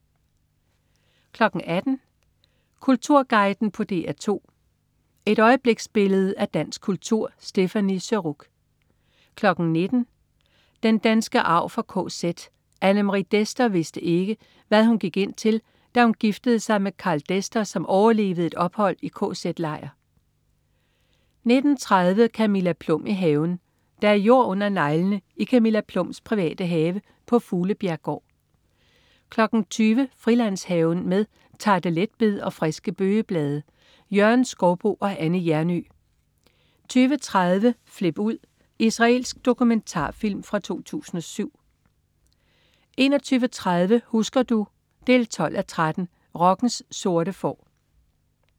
18.00 Kulturguiden på DR2. Et øjebliksbillede af dansk kultur. Stéphanie Surrugue 19.00 Den danske arv fra KZ. Anne Marie Dester vidste ikke, hvad hun gik ind til, da hun giftede sig med Karl Dester, som overlevede et ophold i kz-lejr 19.30 Camilla Plum i haven. Der er jord under neglene i Camilla Plums private have på Fuglebjerggård 20.00 Frilandshaven. Med tarteletbed og friske bøgeblade. Jørgen Skouboe og Anne Hjernøe 20.30 Flip ud! Israelsk dokumentarfilm fra 2007 21.30 Husker du? 12:13. Rockens sorte får